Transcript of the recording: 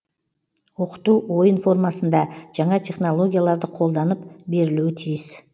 оқыту ойын формасында жаңа технологияларды қолданып берілуі тиіс